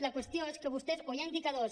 la qüestió és que vostès o hi ha indicadors